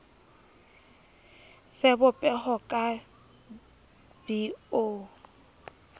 sebo peho ka b o